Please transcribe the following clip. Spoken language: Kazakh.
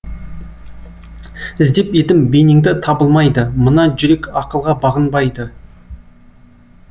іздеп едім бейнеңді табылмайды мына жүрек ақылға бағынбайды